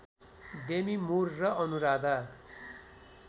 Demi Moore र अनुराधा